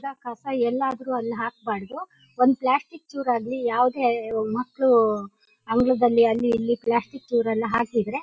ಎಲ್ಲ ಕಸ ಎಲ್ಲಿ ಆದ್ರೂ ಅಲ್ ಹಾಕ್ಬಾರ್ದು ಒಂದ್ ಪ್ಲಾಸ್ಟಿಕ್ ಚುರ್ ಆಗ್ಲಿ ಯಾವುದೇ ಮಕ್ಕ್ಳು ಅಂಗಳದಲ್ಲಿ ಅಲ್ಲಿ ಇಲ್ಲಿ ಪ್ಲಾಸ್ಟಿಕ್ ಚುರ್ ಎಲ್ಲ ಹಾಕಿದ್ರೆ--